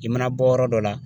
I mana bɔ yɔrɔ dɔ la